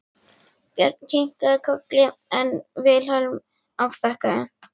Björn kinkaði kolli en Vilhelm afþakkaði.